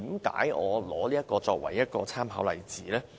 為何我以此作為參考例子？